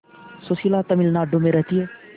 सुशीला तमिलनाडु में रहती है